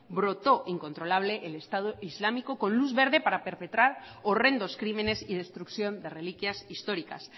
brotó incontrolable el estado islámico con luz verde para perpetrar horrendos crímenes y destrucción de reliquias históricas